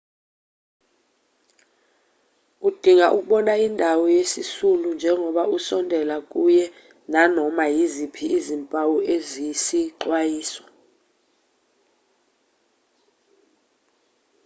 udinga ukubona indawo yesisulu njengoba usondela kuye nanoma yiziphi izimpawu eziyisixwayiso